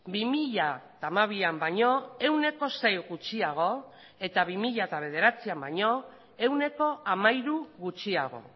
bi mila hamabian baino ehuneko sei gutxiago eta bi mila bederatzian baino ehuneko hamairu gutxiago